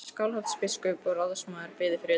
Skálholtsbiskup og ráðsmaður biðu fyrir utan.